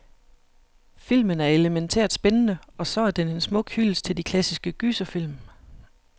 Filmen er elemæntært spændende, og så er den en smuk hyldest til de klassiske gyserfilm.